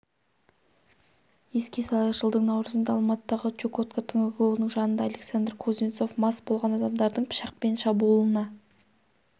еске салайық жылдың наурызында алматыдағы чукотка түнгі клубының жанында александр кузнецов мас болған адамдардың пышақпен шабуылына